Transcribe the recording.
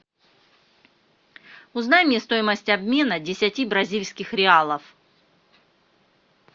узнай мне стоимость обмена десяти бразильских реалов